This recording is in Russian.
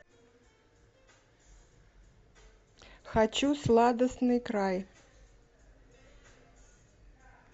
хочу сладостный край